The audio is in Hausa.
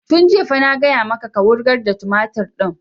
Tun jiya fa na gaya maka ka wurgar da tumatur ɗin!